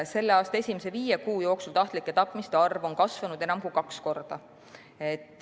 Selle aasta esimese viie kuu jooksul on aga tahtlike tapmiste arv kasvanud enam kui kaks korda.